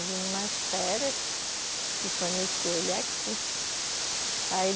Eu vim em umas férias e conheci ele aqui. Aí